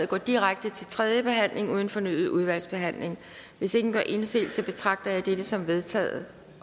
går direkte til tredje behandling uden fornyet udvalgsbehandling hvis ingen gør indsigelse betragter jeg dette som vedtaget